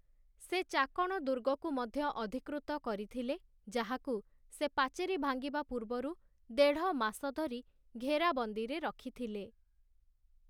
ସେ ଚାକଣ ଦୁର୍ଗକୁ ମଧ୍ୟ ଅଧିକୃତ କରିଥିଲେ, ଯାହାକୁ ସେ ପାଚେରି ଭାଙ୍ଗିବା ପୂର୍ବରୁ ଦେଢ଼ ମାସ ଧରି ଘେରାବନ୍ଦୀରେ ରଖିଥିଲେ ।